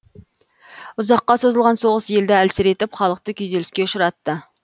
ұзаққа созылған соғыс елді әлсіретіп халықты күйзеліске ұшыратты